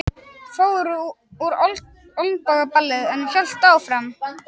Fór úr olnbogalið en hélt áfram